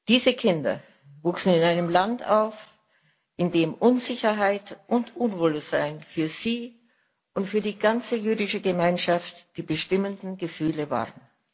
Diese Kinder wuchsen in einem Land auf, in dem Unsicherheit und Unwohlsein für sie und für die ganze jüdische Gemeinschaft die bestimmenden Gefühle waren.